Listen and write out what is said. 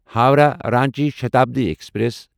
Howrah Ranchi Shatabdi express